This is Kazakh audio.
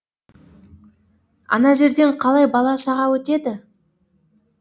ана жерден қалай бала шаға өтеді